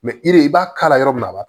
i b'a k'a la yɔrɔ min na a b'a